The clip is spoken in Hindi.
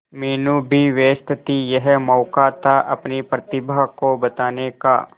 मीनू भी व्यस्त थी यह मौका था अपनी प्रतिभा को बताने का